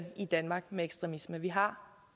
i danmark med ekstremisme vi har